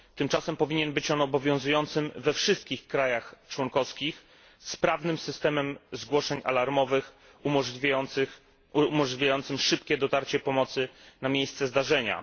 Tymczasem powinien być on obowiązującym we wszystkich krajach członkowskich sprawnym systemem zgłoszeń alarmowych, umożliwiającym szybkie dotarcie pomocy na miejsce zdarzenia.